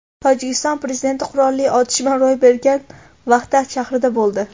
Tojikiston prezidenti qurolli otishma ro‘y bergan Vahdat shahrida bo‘ldi.